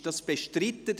Ist dies bestritten?